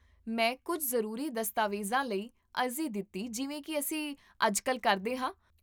ਮੈਂ ਕੁੱਝ ਜ਼ਰੂਰੀ ਦਸਤਾਵੇਜ਼ਾਂ ਲਈ ਅਰਜ਼ੀ ਦਿੱਤੀ ਜਿਵੇਂ ਕੀ ਅਸੀਂ ਅੱਜਕੱਲ੍ਹ ਕਰਦੇ ਹਾਂ